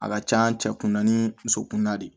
A ka can cɛ kunna ni muso kunda de